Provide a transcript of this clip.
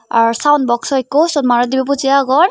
ar sound box ekku siyot manuj dibey boji agon.